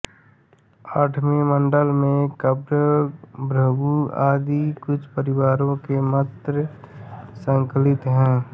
आठवें मण्डल में कण्व भृगु आदि कुछ परिवारों के मन्त्र संकलित हैं